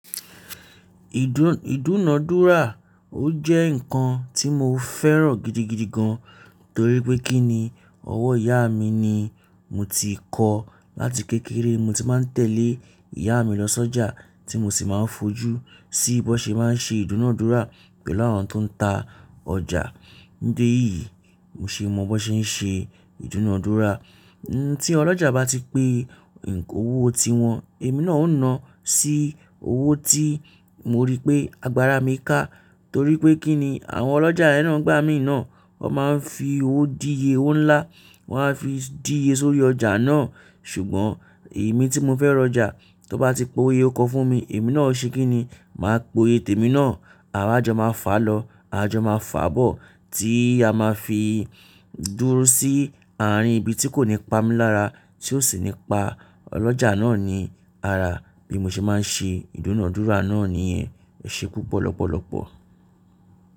Ìdún-ìdúnadúrà, o jẹ́ nǹkan tí mo fẹ́ràn gidigidi gan torí pé kí ni ọwọ́ ìyá mi ni mo ti kọ́. Láti kékeré mo ti máa ń tẹ̀lé ìyá mi lọ sọ́jà tí mo sì máa fojú sí bí wọ́n ṣe máa ń ṣe ìdúnadúrà pẹ̀lú àwọn tó ń ta ọjà. Ní dé yìí, mo sì mọ bí wọ́n ṣe ń ṣe ìdúnadúrà. Tí ọlọ́jà bá ti pe òwò ti wọn, èmi náà ó na sí owó tí mo rí pé agbára mi ká torí pé kí ni àwọn ọlọ́jà yen na igbà mí náà, wọn máa ń fi owó díye owó ńlá, wọ́n á fi díye sórí ọjà náà. Ṣùgbọ́n èmi tí mo fẹ́ rọjà, tan bá ti po oye ọkọ fún mi, èmi náà o ṣe kí ni, màá pe iye tèmi náà, àwa jọ máa fà lọ, à jọ máa fà bọ̀ tí a máa fi dúró sí àárín ibi tí kò ní pamí lára tí ó sì nípa ọlọ́jà náà ni ara. Bí mo ṣe máa ń ṣe ìdúnadúrà náà nìyẹn. Ẹse pupo lọ́pọ̀lọ́pọ̀.